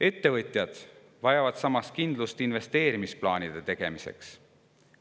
Ettevõtjad vajavad samas kindlust investeerimisplaanide tegemiseks.